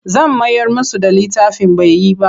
Zan mayar musu da littafin bai yi ba.